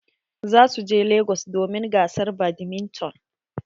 Za su je lagos domin gasar badminton.